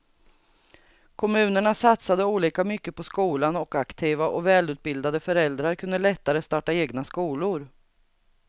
Kommunerna satsade olika mycket på skolan och aktiva och välutbildade föräldrar kunde lättare starta egna skolor.